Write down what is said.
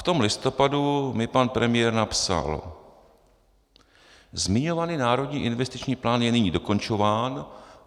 V tom listopadu mi pan premiér napsal: "Zmiňovaný národní investiční plán je nyní dokončován.